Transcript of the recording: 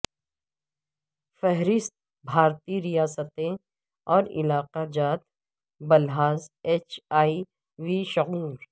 فہرست بھارتی ریاستیں اور علاقہ جات بلحاظ ایچ ائی وی شعور